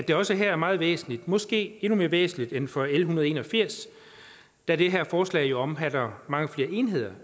det også her er meget væsentligt måske endnu mere væsentligt end for l en hundrede og en og firs da det her forslag jo omfatter mange flere enheder